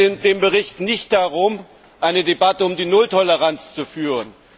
Es geht in dem Bericht nicht darum, eine Debatte über die Nulltoleranz zu führen.